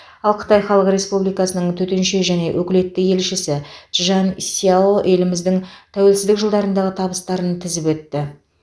ал қытай халық республикасының төтенше және өкілетті елшісі чжан сяо еліміздің тәуелсіздік жылдарындағы табыстарын тізіп өтті